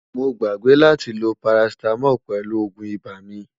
mó gbàgbé látí ló paracetamol pèlú ògún ibà mí